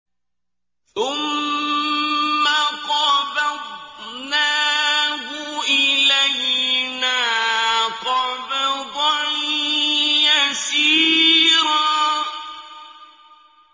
ثُمَّ قَبَضْنَاهُ إِلَيْنَا قَبْضًا يَسِيرًا